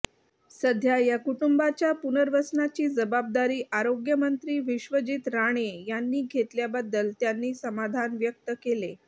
सध्या या कुटुंबाच्या पुनर्वसनाची जबाबदारी आरोग्यमंत्री विश्वजित राणे यांनी घेतल्याबद्दल त्यांनी समाधान व्यक्त केले